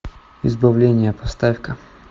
избавление поставь ка